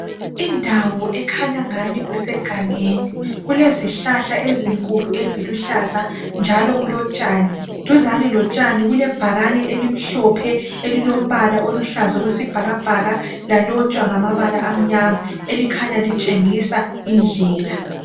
indawo ekhanya engani kusegangeni kulezihlahla ezinkulu eziluhlaza njalo kulotshani duzane lotshani kulebhakani elimhlophe elilombala oluhlaza okwesibhakabhaka elikhanya litshengisa indlela